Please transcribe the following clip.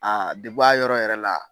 A debu a yɔrɔ yɛrɛ la.